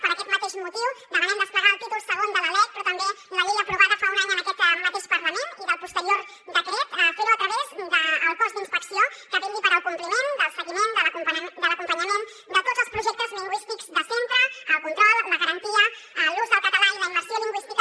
per aquest mateix motiu demanem desplegar el títol segon de la lec però també la llei aprovada fa un any en aquest mateix parlament i del posterior decret fer ho a través del cos d’inspecció que vetlli pel compliment del seguiment de l’acompanyament de tots els projectes lingüístics de centre el control la garantia l’ús del català i la immersió lingüística